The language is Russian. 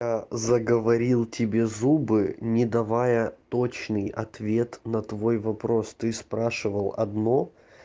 а заговорил тебе зубы не давая точный ответ на твой вопрос ты спрашивал одно